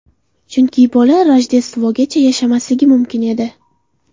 Chunki bola Rojdestvogacha yashamasligi mumkin edi.